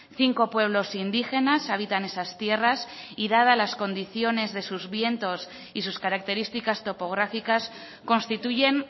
cinco pueblos indígenas habitan esas tierras y dada las condiciones de sus vientos y sus características topográficas constituyen